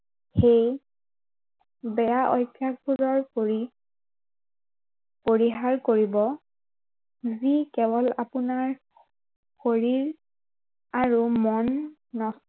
সেয়ে বেয়া অভ্য়াসবোৰৰ পৰি পৰিহাৰ কৰিব যি কেৱল আপোনাৰ শৰীৰ, আৰু মন